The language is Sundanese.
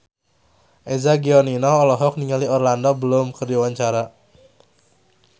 Eza Gionino olohok ningali Orlando Bloom keur diwawancara